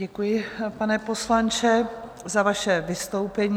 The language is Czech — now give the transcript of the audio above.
Děkuji, pane poslanče, za vaše vystoupení.